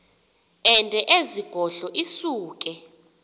ende ezigodlo isuke